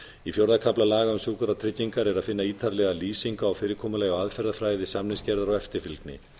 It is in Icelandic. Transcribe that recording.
í fjórða kafla laga um sjúkratryggingar er að finna ítarlega lýsingu á fyrirkomulagi og aðferðafræði samningsgerðar og eftirfylgni